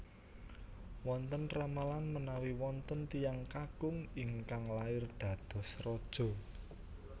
Wonten ramalan menawi wonten tiyang kakung ingkang lair dados raja